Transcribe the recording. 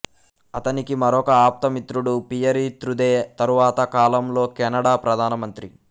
అతనికి మరొక ఆప్త మిత్రుడు పియరీ త్రుదే తరువాత కాలంలో కెనడా ప్రధానమంత్రి